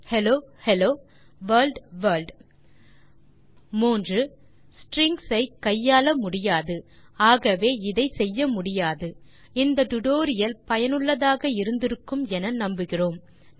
hello hello world strings ஐ கையாள முடியாது ஆகவே இதை செய்ய முடியாது இந்த டுடோரியல் சுவாரசியமாகவும் பயனுள்ளதாகவும் இருந்திருக்கும் என நம்புகிறேன்